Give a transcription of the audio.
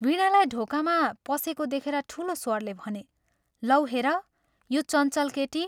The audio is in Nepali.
वीणालाई ढोकामा पसेको देखेर ठूलो स्वरले भने, " लौ हेर, यो चञ्चल केटी।